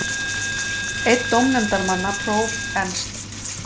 Einn dómnefndarmanna, próf. Ernst